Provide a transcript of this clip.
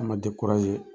An ma